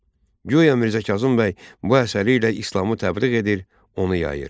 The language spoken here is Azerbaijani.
Guya Mirzə Kazım bəy bu əsəri ilə İslamı təbliğ edir, onu yayır.